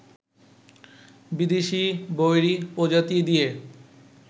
বিদেশি বৈরী প্রজাতি দিয়ে